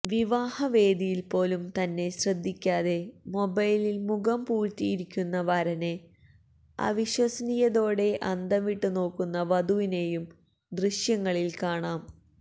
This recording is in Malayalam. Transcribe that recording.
വിവാഹവേദിയിൽപ്പോലും തന്നെ ശ്രദ്ധിക്കാതെ മൊബൈലിൽ മുഖം പൂഴ്ത്തിയിരിക്കുന്ന വരനെ അവിശ്വസനീയതയോടെ അന്തംവിട്ട് നോക്കുന്ന വധുവിനെയും ദൃശ്യങ്ങളിൽ കാണാം